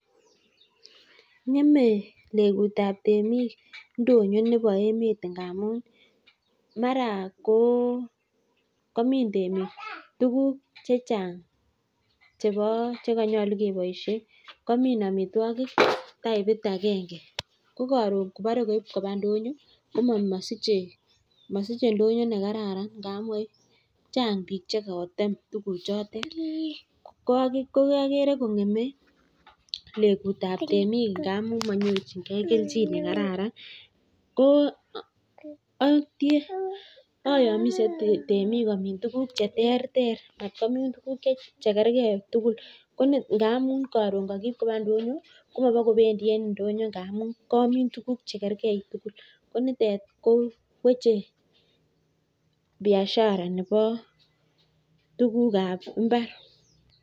Ng'eme legut ab temik ndonyo nebo emet ngamun, mara komin temik tuguk che chang chebo, che konyolu keboishen komin amitwogik tapit agenge ko koron kobore koib koba ndonyo komosiche ndonyo ne kararan ndamun chang biik che kotem tuguchotet. KO agere kong'eme legut ab temik ngamun monyorchinge kelchin ne kararan ko ayomise temik ole komin tuguk che terter matkomin tuguk che kerge tugul, ngamun koron kogib koba ndonyo komobokobendi e ndonyo ngamun koomin tuguk che kerge tugul ko nitet koweche biasagara nebo tuguk ab mbar.